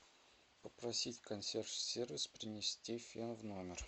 попросить консьерж сервис принести фен в номер